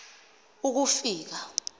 ukufika